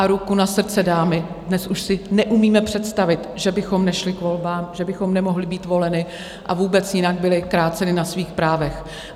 A ruku na srdce, dámy, dnes už si neumíme představit, že bychom nešly k volbám, že bychom nemohly být voleny, a vůbec jinak byly kráceny na svých právech.